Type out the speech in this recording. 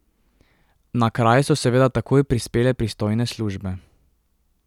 Na kraj so seveda takoj prispele pristojne službe.